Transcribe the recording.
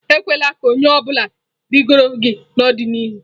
Ekwela ka onye ọ bụla rugide gị n'ọdịnihu.